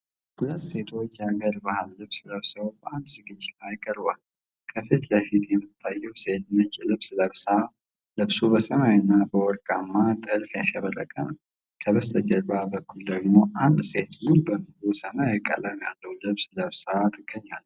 ሁለት ሴቶች የሀገር ባህል ልብስ ለብሰው በአንድ ዝግጅት ላይ ቀርበዋል። ከፊት ለፊቷ የምትታየው ሴት ነጭ ልብስ ለብሳ፣ ልብሱ በሰማያዊና በወርቃማ ጥልፍ ያሸበረቀ ነው። በስተጀርባ በኩል ደግሞ አንድ ሴት ሙሉ በሙሉ ሰማያዊ ቀለም ያለው ልብስ ለብሳለጭ